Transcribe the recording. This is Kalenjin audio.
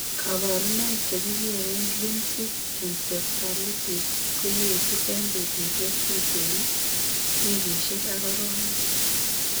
Kaborunoik chekikereen limbic encephalitis koyeetu eng' betusiek tuteen, wikikisiek ak arowek